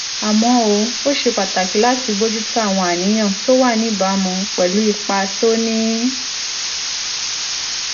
àmọ́ ó ṣe pàtàkì láti bójú tó àwọn àníyàn tó wà níbàámu pẹ̀lú ipa tó ní